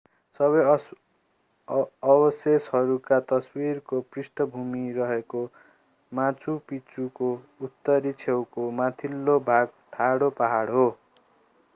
सबै अवशेषहरूका तस्विरहरूको पृष्ठभूमि रहेको माचु पिच्चुको उत्तरी छेउको माथिल्लो भाग ठाडो पहाड हो